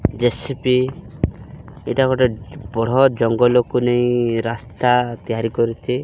ଜେ_ଶି_ପି ଏଇଟା ଗୋଟେ ବଢ଼ ଜଙ୍ଗଲକୁ ନେଇ ରାସ୍ତା ତିଆରି କରୁଚି।